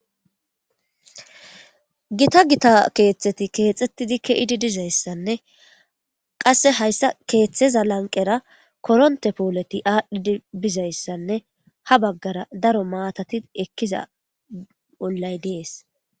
Gitta gitta kethati kexetidi dizayisane qasse hayisa ketheza laniqera koronite poleti adhidi bizayisane ha bagara darro matati ekiza olayi dessi